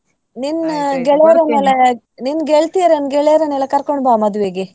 ನಿನ್ನ ಗೆಳೆಯರನೆಲ್ಲ ನಿನ್ ಗೆಳತಿಯರನ್ ಗೆಳೆಯರನ್ನೆಲ್ಲ ಕರ್ಕೊಂಡು ಬಾ ಮದ್ವೆಗೆ.